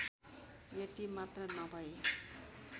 यति मात्र नभई